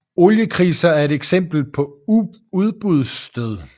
Oliekriser er et eksempel på udbudsstød